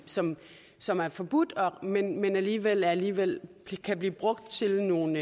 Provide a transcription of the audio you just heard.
som som er forbudt men alligevel alligevel kan blive brugt til nogle